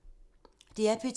DR P2